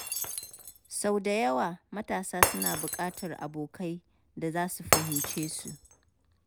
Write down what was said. Sau da yawa, matasa suna buƙatar abokai da za su fahimce su.